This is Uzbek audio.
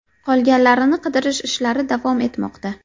Qolganlarini qidirish ishlari davom etmoqda.